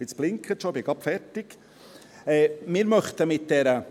– Jetzt blinkt es schon, ich bin gleich fertig.